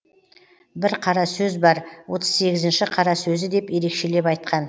бір қара сөз бар отыз сегізінші қара сөзі деп ерекшелеп айтқан